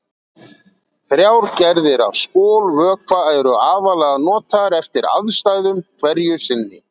Þrjár gerðir af skolvökva eru aðallega notaðar eftir aðstæðum hverju sinni.